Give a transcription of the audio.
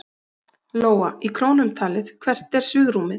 Lóa: Í krónum talið, hvert er svigrúmið?